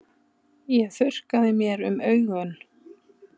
Ég þurrkaði mér um augun.